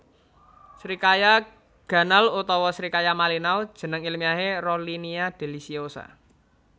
Srikaya ganal utawa srikaya malinau jeneng ilmiahé Rollinia deliciosa